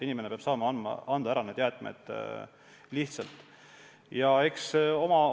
Inimene peab saama need jäätmed lihtsalt ära anda.